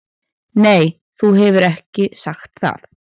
Nei þú hefur ekki sagt það.